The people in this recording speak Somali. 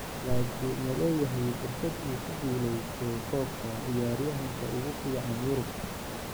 Laakiin ma leeyahay fursad uu ku guuleysto koobka ciyaaryahanka ugu fiican Yurub?